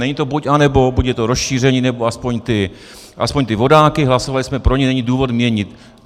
Není to buď, anebo, buď je to rozšíření, nebo aspoň ty vodáky, hlasovali jsme pro ně, není důvod měnit.